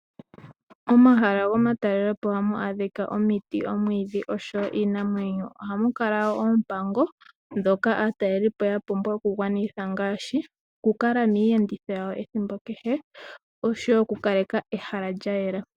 Momahala gomatakelepo ohamu adhika omiti, omwiidhi nosho woo iinamwenyo. Ohamu kala wo oompango ndhoka aatalelipo ya pumbwa okugwanitha ngaashi okukala miiyenditho yawo ethimbo kehe nosho wo okukaleka ehala lya yela.